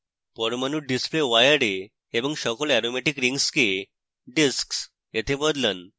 পরমাণুর display wire এ এবং সকল aromatic rings কে disks এ বদলান